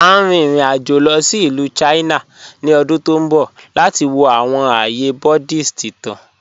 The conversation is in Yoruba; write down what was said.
À n rìn ìrìn-àjọ̀ lọ sí Ilù China ni ọ̀dún tó nbọ̀ lati wọ̀ awọn ààyè Buddhist ìtàn.